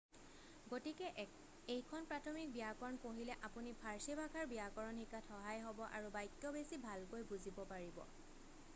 গতিকে এইখন প্ৰাথমিক ব্যাকৰণ পঢ়িলে আপুনি ফাৰ্চী ভাষাৰ ব্যাকৰণ শিকাত সহায় হব আৰু বাক্য বেছি ভালকৈ বুজিব পাৰিব